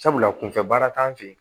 Sabula kunfɛ baara t'an fɛ yen